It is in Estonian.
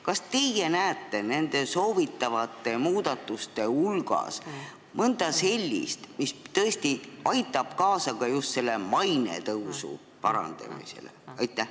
Kas teie näete nende soovitavate muudatuste hulgas mõnda sellist, mis aitab kaasa maine parandamisele?